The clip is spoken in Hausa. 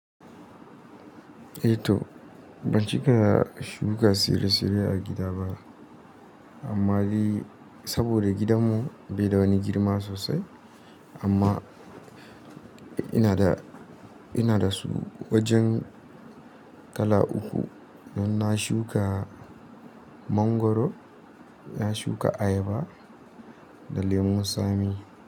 Eh to, ban ci gaka da shuka tsire-tsire a gida ba. Amma dai saboda gidanmu bai da wani girma sosai. Amma ina da, ina da su wajen kala uku, don na shuka mangwaro, na shuka ayaba da lemu tsami.